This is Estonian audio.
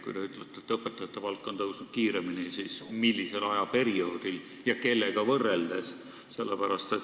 Kui te ütlete, et õpetajate palk on tõusnud kiiremini, siis millisel ajaperioodil ja kellega võrreldes?